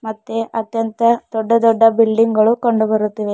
ಮತ್ತೆ ಅತ್ಯಂತ ದೊಡ್ಡ ದೊಡ್ಡ ಬಿಲ್ಡಿಂಗ್ ಗಳು ಕಂಡು ಬರುತ್ತಿವೆ.